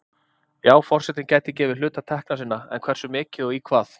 Já forsetinn gæti gefið hluta tekna sinna, en hversu mikið og í hvað?